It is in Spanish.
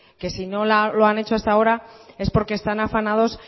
que si no lo han hecho hasta ahora es porque están afanados